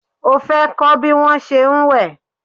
O fẹ́ kọ́ bí wón se ń wẹ̀?